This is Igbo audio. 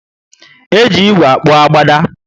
Eji ígwè akpu agbada